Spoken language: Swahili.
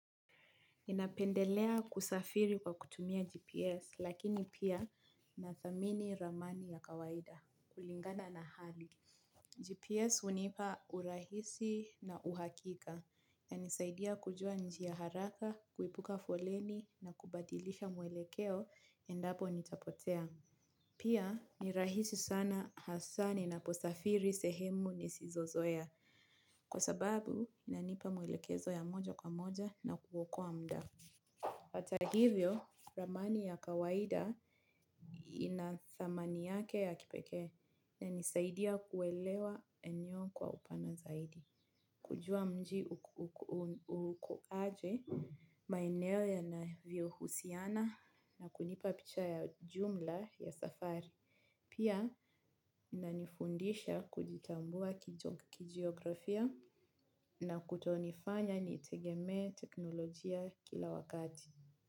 Napendelea kusafiri kwa kutumia GPS lakini pia na thamini ramani ya kawaida kulingana na hali. GPS hunipa urahisi na uhakika ya nisaidia kujua njia haraka, kuepuka foleni na kubadilisha mwelekeo endapo nitapotea. Pia nirahisi sana hasaa ni naposafiri sehemu nisizo zoea kwa sababu inanipa mwelekezo ya moja kwa moja na kuokoa mda. Hata hivyo, ramani ya kawaida inathamani yake ya kipeke inanisaidia kuelewa eneo kwa upana zaidi. Kujua mji uko aje, maeneo ya na vio husiana na kunipapicha ya jumla ya safari. Pia, inanifundisha kujitambua kijiografia na kutonifanya nitegeme teknolojia kila wakati.